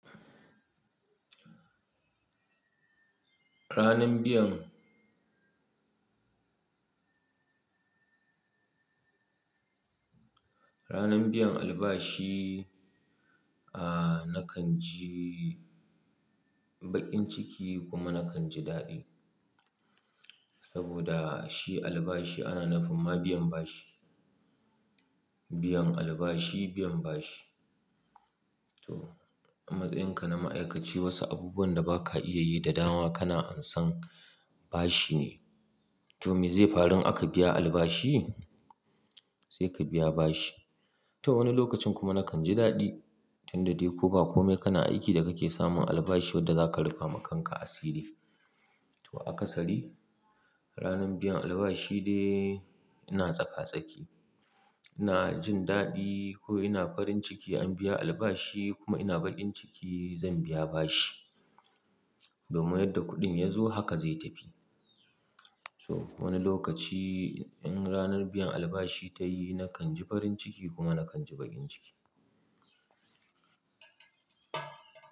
Ranan biyan, ranan biyan albashi, nakan ji bakin ciki kuma nakan ji dadi. Saboda shi albashi ana nufinma biyan bashi. Biyan albashi, biyan bashi. To matsayin ka na ma'aikaci wasu abubuwan da ba ka iya yi da dawa kana ansan bashi ne. To me zai faru in aka biya albashi? Sai ka biya bashi. To wani lokacin kuma nakan ji dadi tunda dai ko ba komai kana aiki da kake samun albashi wanda zaka rufe ma kanka asiri. To a kasari ranan biyan albashi dai ina tsaka tsaki. Ina jin dadi ko ina farin ciki an biya albashi kuma ina bakin ciki zan biya bashi. Domai yadda kuɗin yazo haka zai tafi. To wani lokaci in ranan biyan albashi ta yi nakan ji farin ciki kuma nakan ji bakin ciki.